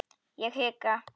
Ég hika.